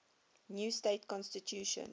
new state constitution